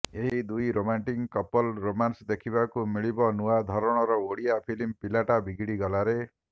ଏହି ଦୁଇ ରୋମାଣ୍ଟିକ କପଲଙ୍କ ରୋମାନ୍ସ ଦେଖିବାକୁ ମିଳିବ ନୂଆ ଧରଣର ଓଡିଆ ଫିଲ୍ମ ପିଲାଟା ବିଗିଡି ଗଲାରେ